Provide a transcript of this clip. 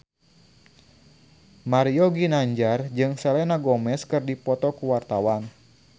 Mario Ginanjar jeung Selena Gomez keur dipoto ku wartawan